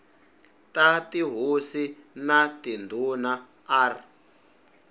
ta tihosi na tindhuna r